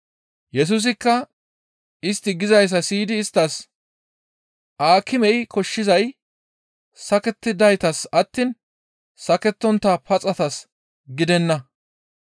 Yesusikka istti gizayssa siyidi isttas, «Aakimey koshshizay sakettidaytas attiin sakettontta paxatas gidenna.